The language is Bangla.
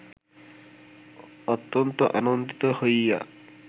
অত্যন্ত আনন্দিত হইয়া